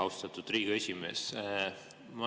Austatud Riigikogu esimees!